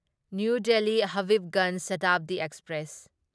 new Delhi Habibganj Shatabdi express